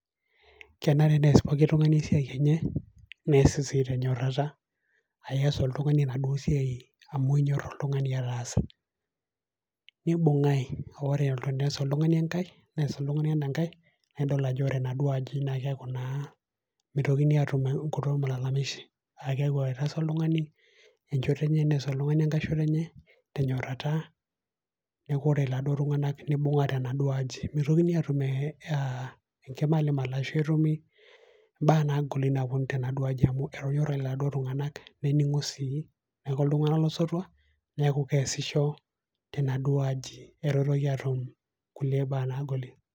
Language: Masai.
Kenare neas pooki tung'ani esiai enye, neas esiai tenyorata, aa ias oltung'ani enaduo siai amu inyor ataasa. Nibung'ai ore teneas oltung'ani enkai, neas oltung'ani ena kai nidol ajo ore enaduo aji naa keaku naa meitokini atum enkito malalamishi Aa keaku etaasa oltung'ani enchoto enye, neas oltung'ani enkai shoto enye tenyorata neaku ore laduo tung'ana, nenyora tenaduo aji. Meitokini atum enkimalimal ashu etumi imbaa nagoli nawuonu tenaduo aji etonyorate laduo tung'ana, nening'o sii neaku iltung'ana lo sotua neaku keasisho tenaduo aji eitu eitoki atum kulie baa nagoli.